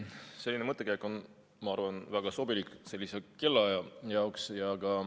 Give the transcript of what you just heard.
Selline mõttekäik on, ma arvan, väga sobilik sellise kellaaja jaoks.